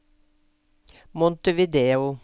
Montevideo